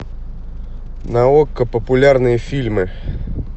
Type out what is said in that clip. на окко популярные фильмы